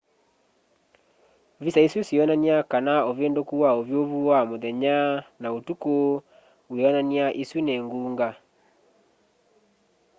visa isu sionany'a kana uvinduku wa uvyuvu wa muthenya na utuku wionan'ya isu ni ngunga